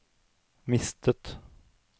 mistet